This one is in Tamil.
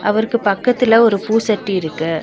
அவருக்கு பக்கத்துல ஒரு பூ சட்டி இருக்கு.